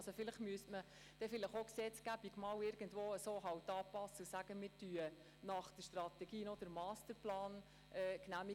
Also müsste man vielleicht die Gesetzgebung irgendwo anpassen, sodass der Grosse Rat nach einer Strategie auch noch einen Masterplan genehmigt.